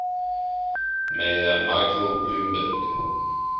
mayor michael bloomberg